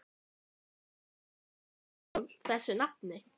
Af hverju heita parísarhjól þessu nafni?